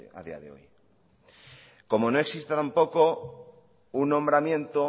a día de hoy como no existe tampoco un nombramiento